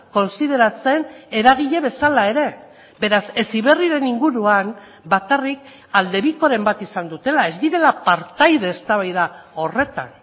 kontsideratzen eragile bezala ere beraz heziberriren inguruan bakarrik aldebikoren bat izan dutela ez direla partaide eztabaida horretan